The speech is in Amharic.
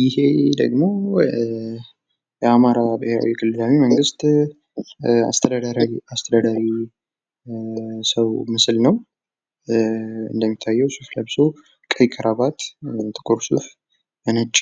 ይሄ ደግሞ የአማራ ብሔራዊ ክልላዊ መንግስት አስተዳዳሪ ሰው ምስል ነው ። እንደሚታየው ሱፍ ለብሶ ቀይ ካራባት ጥቁር ሱፍ በነጭ